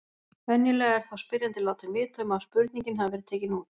Venjulega er þá spyrjandi látinn vita um að spurningin hafi verið tekin út.